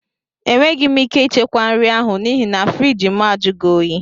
Enweghị m ike ichekwa nri ahụ n'ihi na friiji mụ ajughi oyi